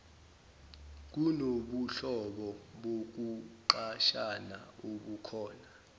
kunobuhlobo bokuqashana obukhona